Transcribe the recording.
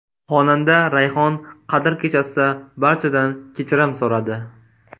Xonanda Rayhon Qadr kechasida barchadan kechirim so‘radi.